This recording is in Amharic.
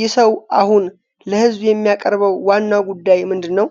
ይህ ሰው አሁን ለህዝብ የሚያቀርበው ዋናው ጉዳይ ምንድን ነው?